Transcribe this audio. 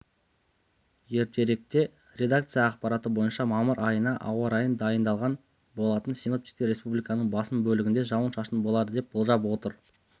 ертеректе редакция ақпараты бойынша мамыр айына ауа райын дайындаған болатын синоптиктер республиканың басым бөлігінде жауын-шашын болады деп болжап отыр